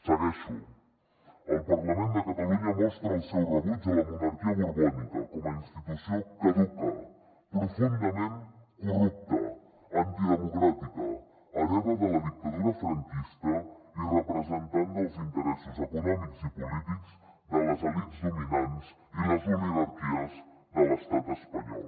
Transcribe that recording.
segueixo el parlament de catalunya mostra el seu rebuig a la monarquia borbònica com a institució caduca profundament corrupta antidemocràtica hereva de la dictadura franquista i representant dels interessos econòmics i polítics de les elits dominants i les oligarquies de l’estat espanyol